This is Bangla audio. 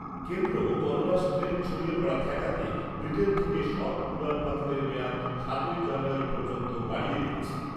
কেন্দ্র করোনার স্ট্রেন ছড়িয়ে পড়া ঠেকাতে ব্রিটেন থেকে সব উড়ান বাতিলের মেয়াদ সাতই জানুয়ারী পর্যন্ত বাড়িয়ে দিয়েছে।